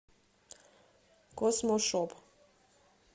космошоп